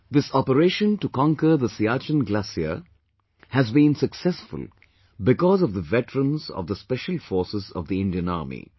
This operation to conquer the Siachen Glacier has been successful because of the veterans of the special forces of the Indian Army